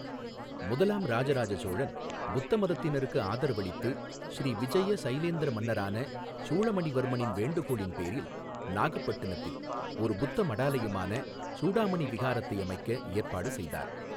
முதலாம் இராஜராஜ சோழன் புத்த மதத்தினருக்கு ஆதரவளித்து, ஸ்ரீவிஜய சைலேந்திர மன்னரான சூளமணிவர்மனின் வேண்டுகோளின் பேரில், நாகப்பட்டினத்தில் ஒரு புத்த மடாலயமான சூடாமணி விஹாரத்தை அமைக்க ஏற்பாடு செய்தார்.